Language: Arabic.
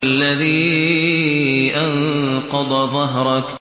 الَّذِي أَنقَضَ ظَهْرَكَ